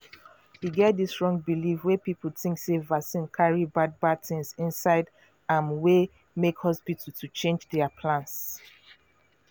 e get dis wrong believe wey people think sey vaccine carry bad bad things inside amwey make hospital to change their plans.